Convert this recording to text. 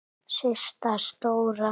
Systa stóra!